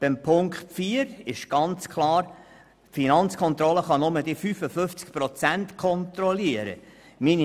Bei Ziffer 4 ist klar, dass die Finanzkontrolle nur die 55 Prozent kontrollieren kann.